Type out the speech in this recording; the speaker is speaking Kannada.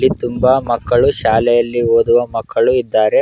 ಇಲ್ಲಿ ತುಂಬಾ ಮಕ್ಕಳು ಶಾಲೆಯಲ್ಲಿ ಓದುವ ಮಕ್ಕಳು ಇದ್ದಾರೆ.